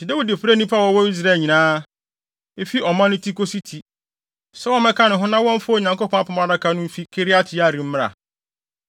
Enti Dawid frɛɛ nnipa a wɔwɔ Israel nyinaa, efi ɔman no ti kosi ti, sɛ wɔmmɛka ne ho na wɔmfa Onyankopɔn Apam Adaka no mfi Kiriat-Yearim mmra.